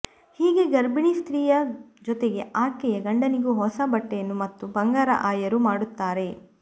ಹೀಗೆ ಗರ್ಭಿಣಿ ಸ್ತ್ರೀಯ ಜೊತೆಗೆ ಆಕೆಯ ಗಂಡನಿಗೂ ಹೊಸ ಬಟ್ಟೆಯನ್ನು ಮತ್ತು ಬಂಗಾರ ಆಯರು ಮಾಡುತ್ತಾರೆ